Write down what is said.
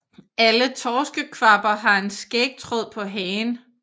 Alle torskekvabber har en skægtråd på hagen